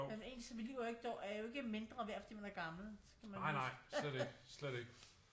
Men ens mit liv er jo ikke mindre værd fordi man er gammel skal man jo huske